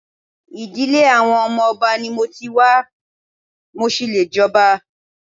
Ìdílé àwọn ọmọ Ọba ni mo ti wá, mo ṣì lè jọba.